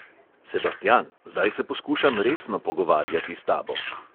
"Sebastian, zdaj se poskušam resno pogovarjati s tabo!"